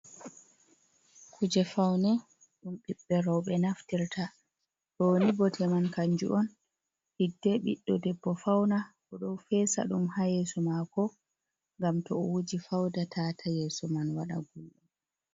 Kuje faune ɗum ɓiɓɓe rowɓe naftirta. Ɗo ni bote man kanju on hidde ɓiɗɗo debbo fauna, o ɗo fesa ɗum ha yeso mako ngam to o wuji fauda tata yeso man waɗa gulɗum.